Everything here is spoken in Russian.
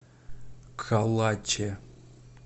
калаче